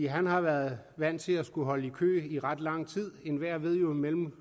har været vant til at skulle holde i kø i ret lang tid enhver ved jo at mellem